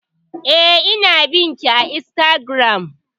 Eh, ina bin ki a Instagram